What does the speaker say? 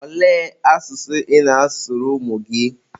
olee asụsụ ị na-asụrụ ụmụ gị?